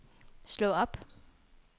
slå op